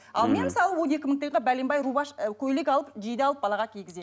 ал мен мысалы он екі мың бәленбай ы көйлек алып жиде алып балаға кигіземін